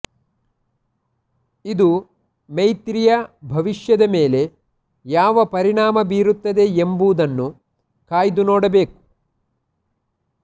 ಇದು ಮೈತ್ರಿಯ ಭವಿಷ್ಯದ ಮೇಲೆ ಯಾವ ಪರಿಣಾಮ ಬೀರುತ್ತದೆ ಎಂಬುದನ್ನು ಕಾಯ್ದು ನೋಡಬೇಕು